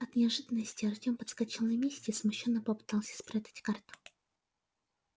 от неожиданности артём подскочил на месте и смущённо попытался спрятать карту